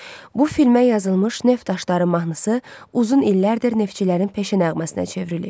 Bu filmə yazılmış Neft daşları mahnısı uzun illərdir neftçilərin peşə nəğməsinə çevrilib.